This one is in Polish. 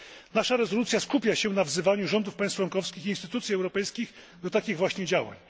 Nasza rezolucja skupia się na wzywaniu rządów państw członkowskich i instytucji europejskich do takich właśnie działań.